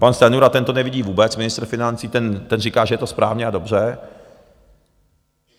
Pan Stanjura, ten to nevidí vůbec, ministr financí, ten říká, že je to správně a dobře.